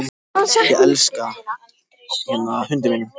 Þau lögðust ekki að bryggju heldur reri skipshöfnin í land.